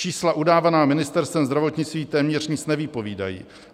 Čísla udávaná Ministerstvem zdravotnictví téměř nic nevypovídají.